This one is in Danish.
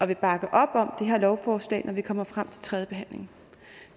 vil bakke op om det her lovforslag når vi kommer frem til tredje behandling